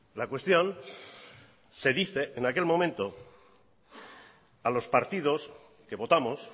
la cuestión se dice en aquel momento a los partidos que votamos